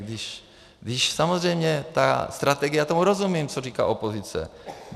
Když samozřejmě ta strategie, já tomu rozumím, co říká opozice.